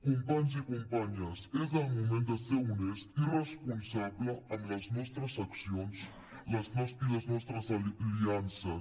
companys i companyes és el moment de ser honest i responsable amb les nostres accions i les nostres aliances